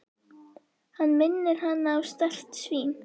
Hann minnir hana á strekkt svín.